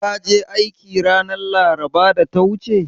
Ka je aiki ranar laraba da ta wuce?